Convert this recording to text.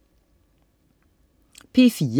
P4: